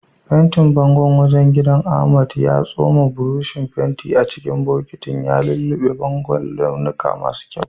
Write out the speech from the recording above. Fentin bangon wajen gidan, Ahmad ya tsoma burushin fentin a cikin bokitin, ya lullube bangon da launuka masu kyau.